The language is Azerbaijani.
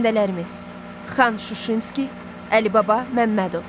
Xanəndələrimiz: Xan Şuşinski, Əlibaba Məmmədov.